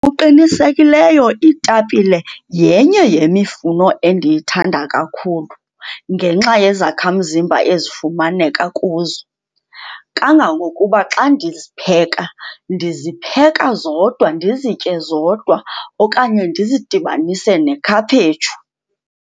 iitapile yenye yemifuno endiyithanda kakhulu ngenxa yezakhamzimba ezifumaneka kuzo. Kangangokuba xa ndizipheka, ndizipheka zodwa ndizitye zodwa okanye ndizidibanise nekhaphetshu.